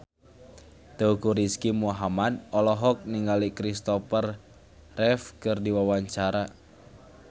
Teuku Rizky Muhammad olohok ningali Kristopher Reeve keur diwawancara